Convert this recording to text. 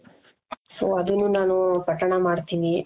so ಅದುನ್ನು ನಾನು ಪಠಣ ಮಾಡ್ತೀನಿ .